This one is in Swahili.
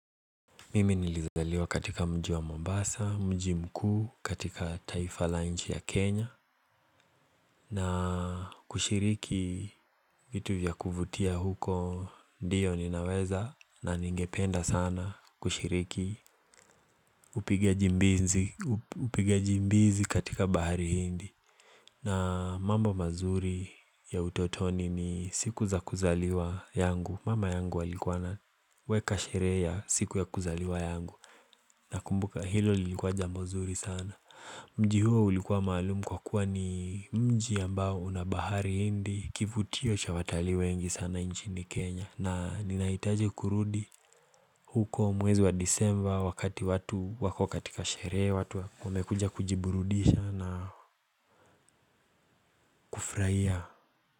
Mimi nilizaliwa katika mjiwa Mombasa, mji mkuu katika taifa la nchi ya Kenya na kushiriki vitu vya kuvutia huko ndiyo ninaweza na ningependa sana kushiriki kup Upigaji mbizi katika bahari hindi na mambo mazuri ya utotoni ni siku za kuzaliwa yangu Mama yangu alikua na weka sherehe ya siku ya kuzaliwa yangu na kumbuka hilo lilikuwa jambo nzuri sana mji huo ulikuwa malumu kwa kuwa ni mji ambao unabahari hindi kivutio cha watali wengi sana nchini kenya na ninaitaji kurudi huko mwezi wa disemba wakati watu wako katika sherehe watu wamekuja kujiburudisha na kufraia.